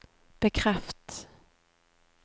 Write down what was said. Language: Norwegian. bekreft